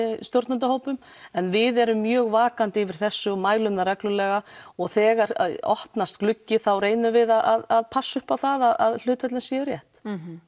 stjórnendahópum en við erum mjög vakandi yfir þessu og mælum það reglulega og þegar opnast gluggi þá reynum við að passa upp á það að hlutföllin séu rétt